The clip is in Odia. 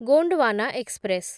ଗୋଣ୍ଡୱାନା ଏକ୍ସପ୍ରେସ୍